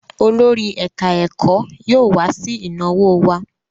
Olórí ẹ̀ká-ẹ̀kọ́ yóò wá sí ìnáwó wa